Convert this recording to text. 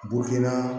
Bo kɛ na